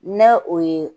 N'a o ye